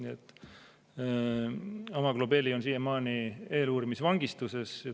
Mzia Amaglobeli on siiamaani eeluurimisvangistuses.